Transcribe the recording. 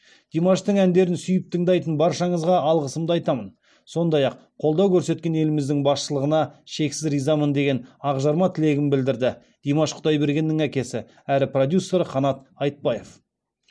димаштың әндерін сүйіп тыңдайтын баршаңызға алғысымды айтамын сондай ақ қолдау көрсеткен еліміздің басшылығына шексіз ризамыз деген ақжарма тілегін білдірді димаш құдайбергеннің әкесі әрі продюсері қанат айтбаев